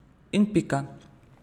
In pika.